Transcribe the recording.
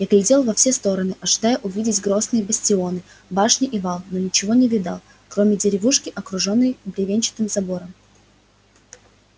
я глядел во все стороны ожидая увидеть грозные бастионы башни и вал но ничего не видал кроме деревушки окружённой бревенчатым забором